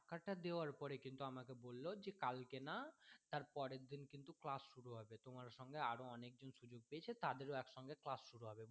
টাকা টা দেওয়ার পরে কিন্তু আমাকে বললো যে কালকে না তার পরের দিন কিন্তু class শুরু হবে তোমার সঙ্গে আরও অনেকজন সুযোগ পেয়েছে তো তাদের সঙ্গে একসাথে class শুরু হবে